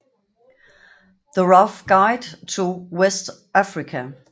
The Rough Guide to West Africa